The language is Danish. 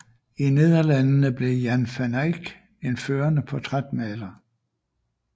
I Nederlandene blev Jan van Eyck en førende portrætmaler